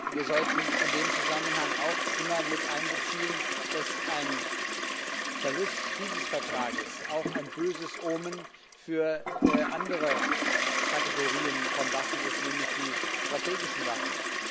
Wir sollten in dem Zusammenhang auch immer mit einbeziehen, dass ein Verlust dieses Vertrags auch ein böses Omen für andere Kategorien von Waffen ist, nämlich die strategischen Waffen.